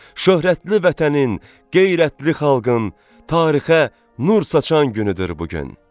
Şöhrətli vətənin, qeyrətli xalqın, tarixə nur saçan günüdür bu gün.